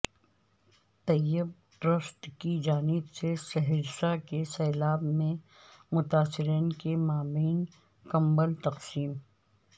طیب trust کی جانب سے سہرسہ کے سیلاب متاثرین کے مابین کمبل تقسیم